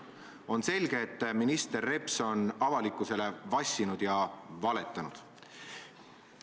On selge, et minister Reps on avalikkusele vassinud ja valetanud.